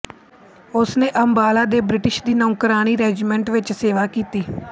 ਉਸਨੇ ਅੰਬਾਲਾ ਦੇ ਬ੍ਰਿਟਿਸ਼ ਦੀ ਨੌਕਰਾਣੀ ਰੈਜੀਮੈਂਟ ਵਿੱਚ ਸੇਵਾ ਕੀਤੀ